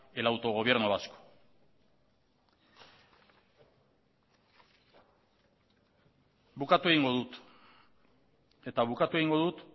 el autogobierno vasco bukatu egingo dut eta bukatu egingo dut